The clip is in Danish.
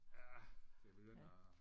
Ja det begynder at